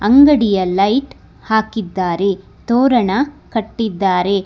ಅಂಗಡಿಯ ಲೈಟ್ ಹಾಕಿದ್ದಾರೆ ತೋರಣ ಕಟ್ಟಿದ್ದಾರೆ.